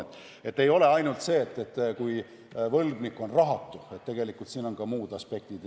Nii et ei ole ainult see juhtum, kui võlgnik on rahatu, vaid tegelikult siin on ka muud aspektid.